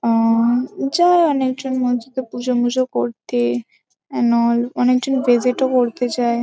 আআ যা অনেকজন মসজিদে পুজো-মুজো করতে অ্যানল অনেকজন ভিসিট -ও করতে যায়।